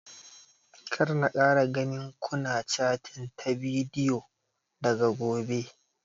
Kar na kara ganin ku na catin ta bidiyo daga gobe!